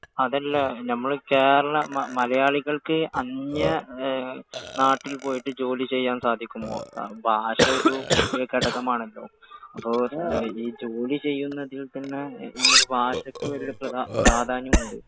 അതല്ല നമ്മള് കേരള, മലയാളികൾക്ക് അന്യ നാട്ടിൽ പോയിട്ട് ജോലി ചെയ്യാൻ സാധിക്കുമോ? ഭാഷ ഒരു വലിയ ഘടകമാണല്ലോ. അപ്പോൾ ഈ ഈ ജോലി ചെയ്യുന്നതിൽത്തന്നെ നമുക്ക് ഭാഷയ്ക്ക് വലിയ പ്രാധാന്യമുണ്ടോ?